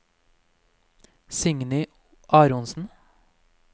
Signy Aronsen